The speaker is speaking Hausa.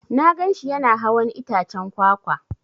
Na gan shi Yana hawan itaccen kwakwa.